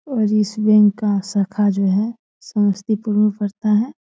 और इस बैंक का शाखा जो है समस्तीपुर में पड़ता है।